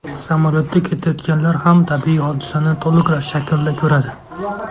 Samolyotda ketayotganlar ham tabiiy hodisani to‘liq shaklda ko‘radi.